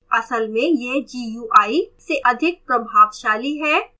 असल में यह gui से अधिक प्रभावशाली है